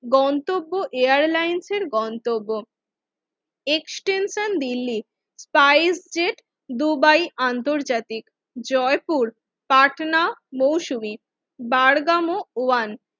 গন্তব্য এয়ারলাইন্সের গন্তব্য extension Delhi price jet Dubai আন্তর্জাতিক জয়পুর পাটনা মৌসুমী বার্গাম ওয়ান